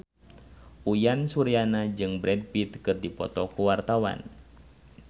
Uyan Suryana jeung Brad Pitt keur dipoto ku wartawan